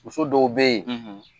Muso dɔw be yen ,